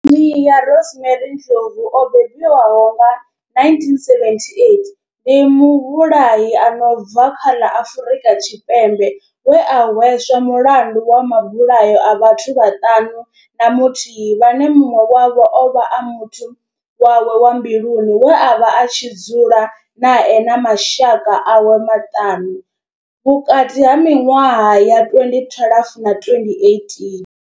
Nomia Rosemary Ndlovu o bebiwaho nga 1978 ndi muvhulahi a no bva kha ḽa Afurika Tshipembe we a hweswa mulandu wa mabulayo a vhathu vhaṱanu na muthihi vhane munwe wavho ovha a muthu wawe wa mbiluni we avha a tshi dzula nae na mashaka awe maṱanu vhukati ha minwaha ya 2012 na 2018.